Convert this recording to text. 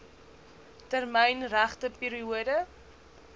termyn regte periode